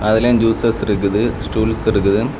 அதுலயும் ஜூஸ்ஸஸ் இருக்குது ஸ்டூல்ஸ் இருக்குது.